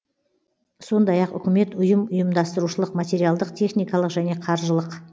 сондай ақ үкімет ұйым ұйымдастырушылық материалдық техникалық және қаржылық